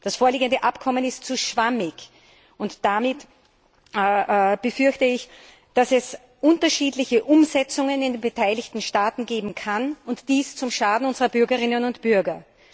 Das vorliegende Abkommen ist zu schwammig, und daher befürchte ich, dass es unterschiedliche Umsetzungen in den beteiligten Staaten geben kann und dies zum Schaden unserer Bürgerinnen und Bürger.